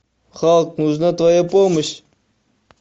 халк нужна твоя помощь